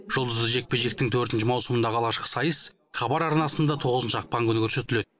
жұлдызды жекпе жектің төртінші маусымындағы алғашқы сайыс хабар арнасында тоғызыншы ақпан күні көрсетіледі